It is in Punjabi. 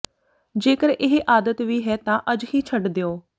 ਜੇਕਰ ਇਹ ਆਦਤ ਵੀ ਹੈ ਤਾ ਅੱਜ ਹੀ ਛੱਡ ਦਿਓ